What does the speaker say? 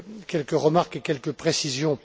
Quelques remarques et quelques précisions.